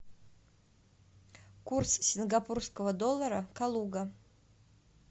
курс сингапурского доллара калуга